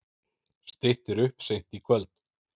Styttir upp seint í kvöld